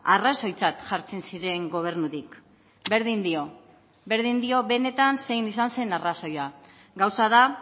arrazoitzat jartzen ziren gobernutik berdin dio berdin dio benetan zein izan zen arrazoia gauza da